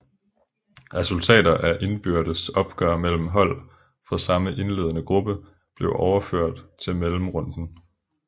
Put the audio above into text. Resultater af indbyrdes opgør mellem hold fra samme indlende gruppe blev overført til mellemrunden